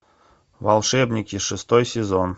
волшебники шестой сезон